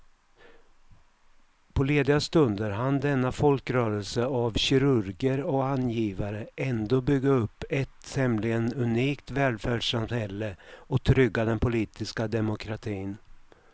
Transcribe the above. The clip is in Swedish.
På lediga stunder hann denna folkrörelse av kirurger och angivare ändå bygga upp ett tämligen unikt välfärdssamhälle och trygga den politiska demokratin.